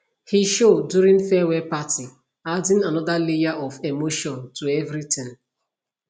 he show during farewell party adding another layer of emotion to everything